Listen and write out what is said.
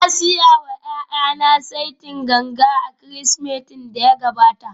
Na saya wa ’ya’yana saitin ganga a Kirsimetin da ya gabata